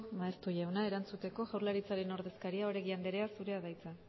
maeztu jauna erantzuteko jaurlaritzaren ordezkaria oregi anderea zurea da hitza